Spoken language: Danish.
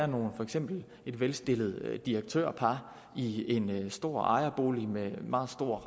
nogle for eksempel et velstillet direktørpar i en stor ejerbolig med meget store